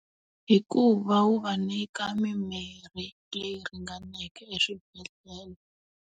Hi ku va wu va nyika mimirhi leyi ringaneke eswibedhlele.